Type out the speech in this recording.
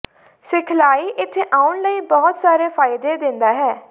ਸਿਖਲਾਈ ਇੱਥੇ ਆਉਣ ਲਈ ਬਹੁਤ ਸਾਰੇ ਫਾਇਦੇ ਦਿੰਦਾ ਹੈ